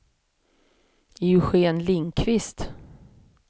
Eugén Lindquist